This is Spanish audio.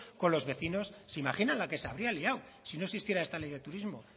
con los vecinos se imaginan la que se habría liado si no existiera esta ley de turismo